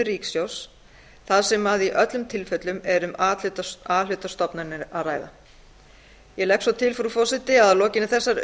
ríkissjóðs þar sem að í öllum tilfellum er um a hluta stofnanir að ræða ég legg svo til frú forseti að að lokinni þessari